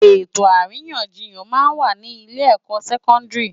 Etó árinyánjiyán má n wá ni ilé èkò sèkòndiri